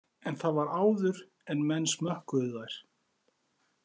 En það var áður en menn smökkuðu þær